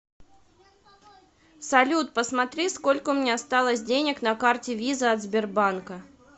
салют посмотри сколько у меня осталось денег на карте виза от сбербанка